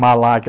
Malac.